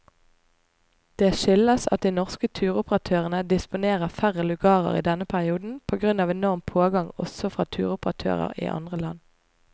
Det skyldes at de norske turoperatørene disponerer færre lugarer i denne perioden på grunn av enorm pågang også fra turoperatører i andre land.